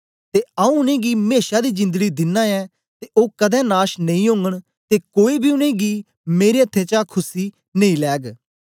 ते आऊँ उनेंगी मेशा दी जिंदड़ी दिना ऐं ते ओ कदें नाश नेई ओगन ते कोई बी उनेंगी मेरे अथ्थें चा खुस्सी नेई लैग